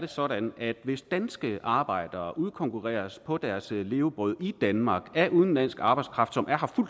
det sådan at hvis danske arbejdere udkonkurreres på deres levebrød i danmark af udenlandsk arbejdskraft som er